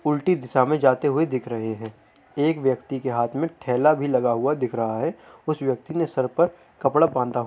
उल्टी दिशा मे जाते हुए दिख रहे हैं। एक व्यक्ति के हाथ मे ठेला भी लगा हुआ दिख रहा है। उस व्यक्ति ने सर पर कपड़ा बांधा --